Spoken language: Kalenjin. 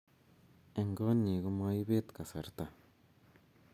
Eng konyi komoibet kasarta